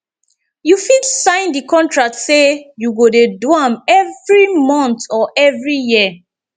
you fit sign di contract say you go de do am every month or every year